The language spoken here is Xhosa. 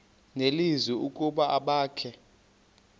nelizwi ukuba abakhe